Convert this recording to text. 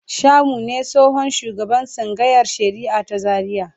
Shamu ne tsohon shugaban tsangayar shari'a ta Zariya.